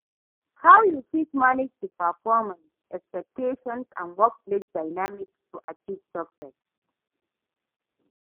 How you fit manage di performance expectations and workplace dynamice to achieve success?